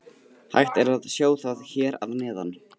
Hægt er að sjá það hér að neðan.